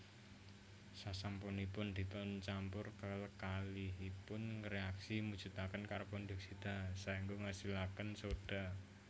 Sasampunipun dipuncampur kekalihipun ngréaksi mujudaken karbondioksida saéngga ngasilaken sodha